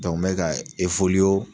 mɛ ka